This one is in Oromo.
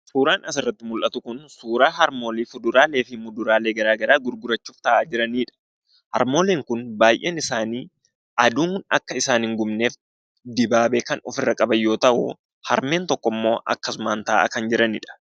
Suuraan as irratti mul'atu kun suuraa harmoolii kuduraalee fi fuduraalee garaa garaa gurgurachuuf taa'aa jiranidha. Harmooliin kunis baay'een isaanii aduun akka hin gubneef dibaabee ofirra kan qaban yoo ta'u, harmeen tokkommoo dibaabee malee taa'aa kan jiranidha.